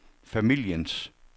familiens